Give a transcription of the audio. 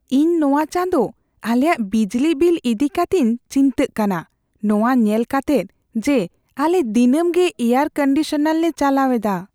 ᱤᱧ ᱱᱚᱶᱟ ᱪᱟᱸᱫᱚ ᱟᱞᱮᱭᱟᱜ ᱵᱤᱡᱞᱤ ᱵᱤᱞ ᱤᱫᱤ ᱠᱟᱛᱮᱧ ᱪᱤᱱᱛᱟᱹᱜ ᱠᱟᱱᱟ, ᱱᱚᱣᱟ ᱧᱮᱞ ᱠᱟᱛᱮᱜ ᱡᱮ ᱟᱞᱮ ᱫᱤᱱᱟᱹᱢ ᱜᱮ ᱮᱭᱟᱨᱼᱠᱚᱱᱰᱤᱥᱚᱱᱟᱨ ᱞᱮ ᱪᱟᱞᱟᱣ ᱮᱫᱟ ᱾